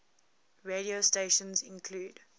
radio stations include